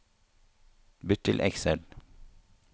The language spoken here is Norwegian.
Bytt til Excel